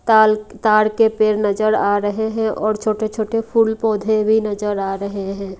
ताल ताड़ के पेड़ नजर आ रहे हैं और छोटे छोटे फूल पौधे भी नजर आ रहे है।